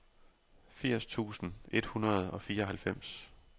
firs tusind et hundrede og fireoghalvfems